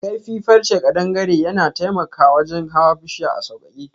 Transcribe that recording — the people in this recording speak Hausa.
Kaifi farrche kadangare yana taimaka wajen hawan bushiya a saukake.